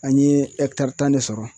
An ye tan de sɔrɔ.